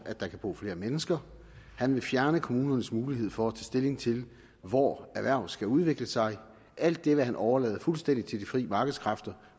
at der kan bo flere mennesker han vil fjerne kommunernes mulighed for at tage stilling til hvor erhverv skal udvikle sig alt det vil han overlade fuldstændig til de frie markedskræfter